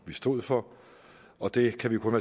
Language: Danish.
vi stod for og det kan vi kun